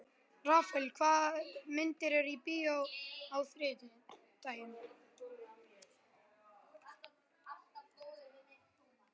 Rafael, hvaða myndir eru í bíó á þriðjudaginn?